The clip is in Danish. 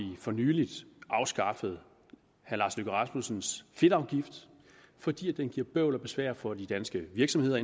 for nylig afskaffet herre lars løkke rasmussens fedtafgift fordi den giver bøvl og besvær for de danske virksomheder